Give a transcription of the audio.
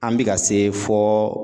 An bika se fɔ